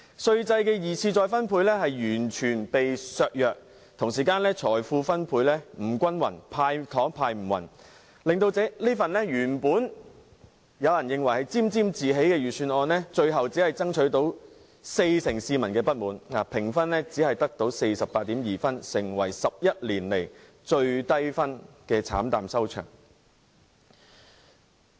稅制的二次分配作用完全被削弱，財富分配不均，"派糖"派得不均勻，令原本有人沾沾自喜的預算案有四成市民感到不滿，評分只得 48.2 分，成為11年來最低分的預算案，慘淡收場。